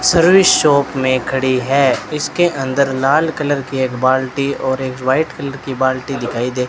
shop मे खड़ी है इसके अंदर लाल कलर की एक बाल्टी और एक व्हाइट कलर की बाल्टी दिखाई दे --